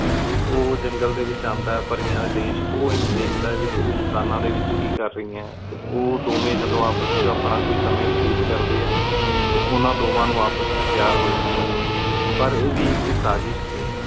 ਉ ਜੰਗਲ ਦੀ ਵਿਚ ਆਂਦਾ ਹੈ ਪਰੀਆਂ ਡੀ ਦੇਚ ਓ ਇਨੁ ਧ੍ਖਦਾ ਆਯ ਕੀ ਤੁਬ ਇਨਸਾਨਾ ਡੀ ਵੇਚ ਕੀ ਕਰ ਰਹੀ ਆਯ ਟੀ ਉ ਦੋਵੇ ਜਦੋ ਆਪਸ ਚ ਆਪਣਾ ਕੋਈ ਸਮੇ ਵਯਤੀਤ ਕਰਦੇ ਹੈ ਟੀ ਉਨਾ ਦੋਵਾਂ ਨੂ ਆਪਸ ਵੇਚ ਪ੍ਯਾਰ ਹੂ ਜਾਂਦਾ ਆਯ ਪਰ ਆਯ ਵੇ ਏਕ ਸਾਜਿਸ਼ ਸੀ